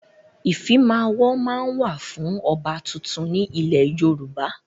Ìfimawo máa ń wà fún ọba tuntun ni ilẹ̀ Yorùbá.